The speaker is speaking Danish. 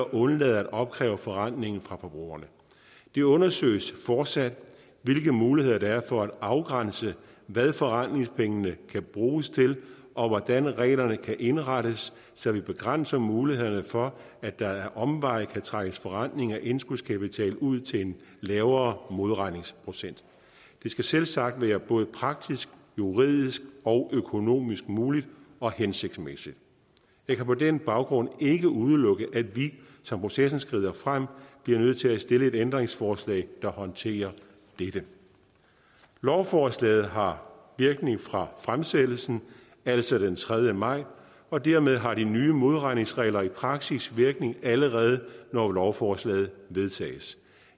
at undlade at opkræve forrentning fra forbrugerne det undersøges fortsat hvilke muligheder der er for at afgrænse hvad forrentningspengene kan bruges til og hvordan reglerne kan indrettes så vi begrænser mulighederne for at der ad omveje kan trækkes forrentning af indskudskapital ud til en lavere modregningsprocent det skal selvsagt være både praktisk juridisk og økonomisk muligt og hensigtsmæssigt jeg kan på den baggrund ikke udelukke at vi som processen skrider frem bliver nødt til at stille et ændringsforslag der håndterer dette lovforslaget har virkning fra fremsættelsen altså den tredje maj og dermed har de nye modregningsregler i praksis virkning allerede når lovforslaget vedtages